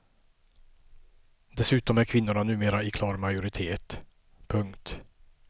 Dessutom är kvinnorna numera i klar majoritet. punkt